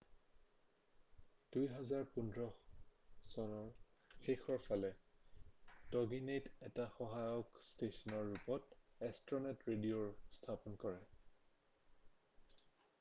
2015ৰ শেষৰ ফালে টগিনেটে এটা সহায়ক ষ্টেচনৰ ৰূপত এষ্ট্ৰনেট ৰেডিঅ'ৰ স্থাপনা কৰে